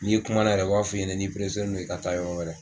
N'i kumana yɛrɛ u b'a fɔ f'i ɲɛnɛ n'i i ka taa yɔrɔ wɛrɛ.